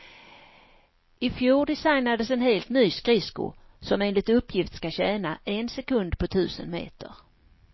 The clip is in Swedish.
I fjol designades en helt ny skridsko, som enligt uppgift ska tjäna en sekund på tusen meter.